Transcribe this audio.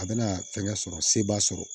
A bɛna fɛngɛ sɔrɔ se b'a sɔrɔ